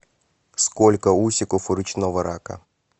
сколько усиков у речного рака